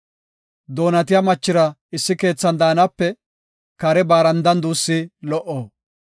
Doonatiya machira issi keethan daanape kare barandan duussi lo77o.